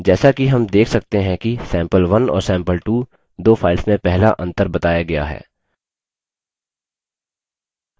जैसा कि हम देख सकते हैं कि sample1 और sample2 दो files में पहला अंतर बताया गया है